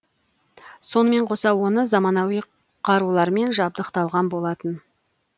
сонымен қоса оны заманауи қарулармен жабдықталған болатын